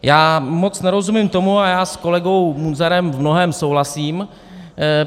Já moc nerozumím tomu - a já s kolegou Munzarem v mnohém souhlasím.